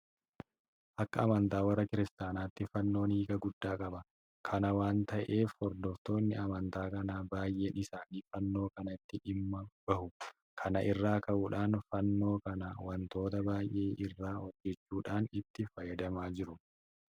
Akka amantaa warra kiristaanotaatti fannoon hiika guddaa qaba. Kana waanta ta'eef hordoftoonni amantaa kanaa baay'een isaanii fannoo kanatti dhimma bahu. Kana irraa ka'uudhaan Fannoo kana waantota baay'ee irraa hojjechuudhaan itti fayyadamaa jiru.